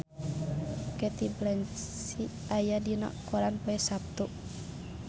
Cate Blanchett aya dina koran poe Saptu